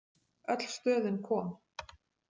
Öll stöðin kom.